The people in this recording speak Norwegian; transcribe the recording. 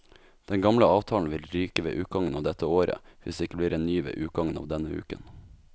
Den gamle avtalen vil ryke ved utgangen av dette året, hvis det ikke blir en ny ved utgangen av denne uken.